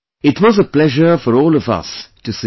It was a pleasure for all of us to see